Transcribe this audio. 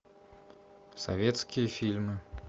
советские фильмы